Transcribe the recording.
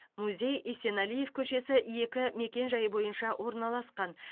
музей есенәлиев көшесі екі мекенжайы бойынша орналасқан